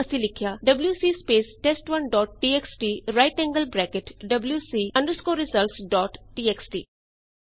ਮੰਨ ਲਓ ਅਸੀ ਲਿਖਿਆ WC space test one dot TXT right angled bracket wc results dot TXT